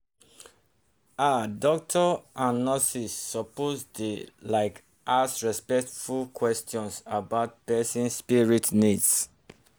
ah doctors and nurses suppose dey like ask respectful questions about person spirit needs.